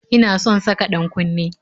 Ina son saka ɗan-kunne